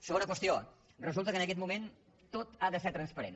segona qüestió resulta que en aquest moment tot ha de ser transparent